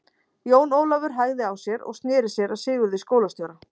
Jón Ólafur hægði á sér og sneri sér að Sigurði skólastjóra.